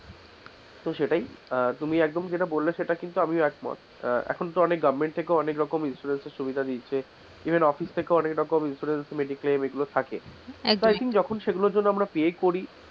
তো সেটাই আহ তুমি একদম যেটা বললে সেটা আমিও কিন্তু একমত, আহ এখন অনেক goverment থেকে অনেক রকম সুবিধা দিয়েছে even অফিস থেকেও অনেক রকম insurance mediclame এগুলো থাকে লেকিন সেগুলোর জন্য আমরা pay করি,